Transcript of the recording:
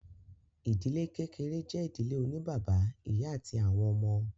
Ìdílé kékeré jẹ́ ìdílé oní bàbá, ìyá àti àwọn ọmọ.